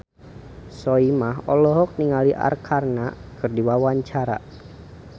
Soimah olohok ningali Arkarna keur diwawancara